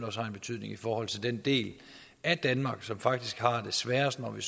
også har en betydning i forhold til den del af danmark som faktisk har det sværest når vi